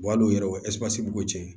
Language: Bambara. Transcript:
al'o yɔrɔ b'o cɛ